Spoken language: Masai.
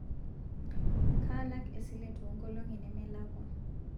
kaalak esile toonkolingi nemelakwa